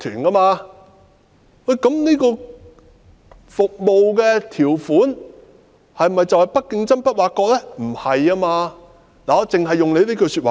那麼，這項服務條款是否等於"不作競爭、不作挖角"呢？